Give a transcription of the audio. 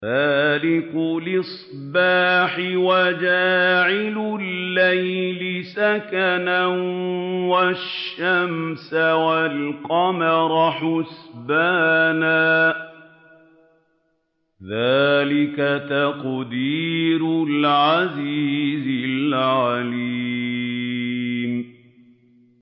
فَالِقُ الْإِصْبَاحِ وَجَعَلَ اللَّيْلَ سَكَنًا وَالشَّمْسَ وَالْقَمَرَ حُسْبَانًا ۚ ذَٰلِكَ تَقْدِيرُ الْعَزِيزِ الْعَلِيمِ